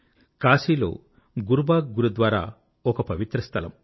కాశీలో గురుబాగ్ గురుద్వారా ఒక పవిత్ర స్థలం